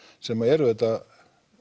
sem er auðvitað